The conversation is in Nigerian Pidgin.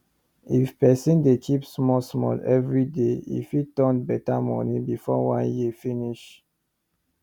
if person dey keep small small every day e fit turn better money before one year finish